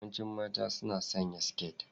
Yawancin mata suna sanya siket.